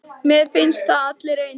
Mér finnst þið allir eins.